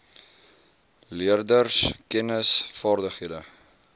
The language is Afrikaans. leerders kennis vaardighede